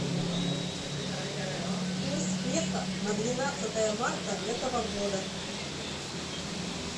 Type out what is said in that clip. курс песо на двенадцатое марта этого года